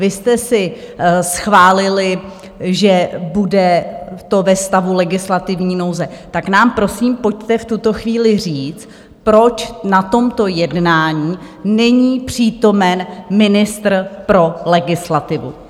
Vy jste si schválili, že to bude ve stavu legislativní nouze, tak nám prosím pojďte v tuto chvíli říct, proč na tomto jednání není přítomen ministr pro legislativu!